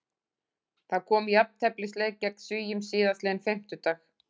Það kom í jafnteflisleik gegn Svíum síðastliðinn fimmtudag.